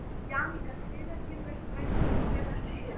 Jannika, hvenær kemur strætó númer fjörutíu og sjö?